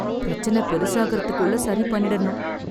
பிரச்சனை பெருசாகுறதுக்குள்ள சரி பண்ணிடணும்.